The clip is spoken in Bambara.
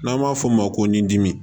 N'an b'a f'o ma ko nɛn dimi